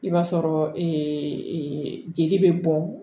I b'a sɔrɔ jeli bɛ bɔn